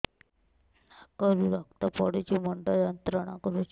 ନାକ ରୁ ରକ୍ତ ପଡ଼ୁଛି ମୁଣ୍ଡ ଯନ୍ତ୍ରଣା କରୁଛି